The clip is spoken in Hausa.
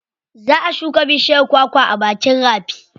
Za a shuka bishiyar kwakwa a bakin rafi.